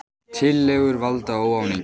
Tillögur valda óánægju